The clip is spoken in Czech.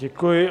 Děkuji.